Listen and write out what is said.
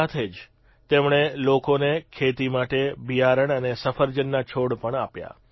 સાથે જ તેમણે લોકોને ખેતી માટે બીયારણ અને સફરજનના છોડ પણ આપ્યા